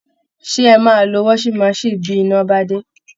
Ṣé ẹ máa lo washing machine bí iná bá dé?